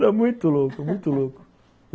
Era muito louco, muito louco.